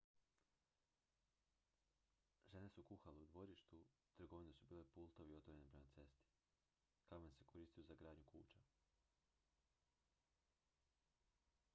žene su kuhale u dvorištu trgovine su bile pultovi otvoreni prema cesti kamen se koristio za gradnju kuća